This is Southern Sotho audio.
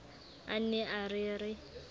a ne a re re